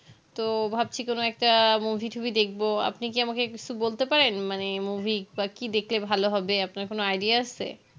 তো ভাবছি কোনো একটা movie টুভি দেখবো আপনি কি আমাকে কিছু বলতে পারেন মানে movie বা কি দেখলে ভালো হবে আপনার কোনো idea আছে